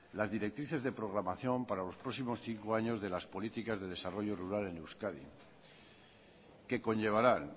los directrices de programación para los próximos cinco años de las políticas de desarrollo rural en euskadi que conllevarán